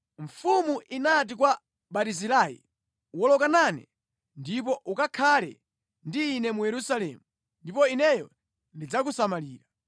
Mfumu inati kwa Barizilai, “Woloka nane ndipo ukakhale ndi ine mu Yerusalemu ndipo ineyo ndidzakusamalira.”